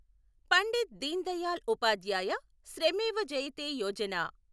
Pandit Deendayal Upadhyaya Shramev Jayate Yojana